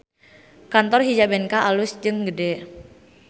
Kantor Hijabenka alus jeung gede